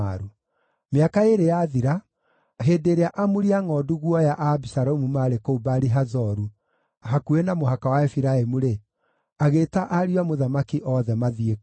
Mĩaka ĩĩrĩ yathira, hĩndĩ ĩrĩa amuri a ngʼondu guoya a Abisalomu maarĩ kũu Baali-Hazoru hakuhĩ na mũhaka wa Efiraimu-rĩ, agĩĩta ariũ a mũthamaki othe mathiĩ kuo.